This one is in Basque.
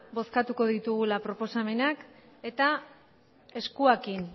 bozkatuko ditugula proposamenak eta eskuekin